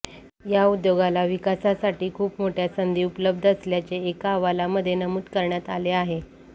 या उद्योगाला विकासासाठी खूप मोठय़ा संधी उपलब्ध असल्याचे एका अहवालामध्ये नमूद करण्यात आले आहे